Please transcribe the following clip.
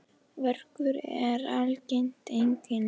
Verkur er algengt einkenni.